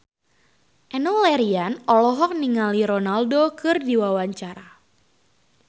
Enno Lerian olohok ningali Ronaldo keur diwawancara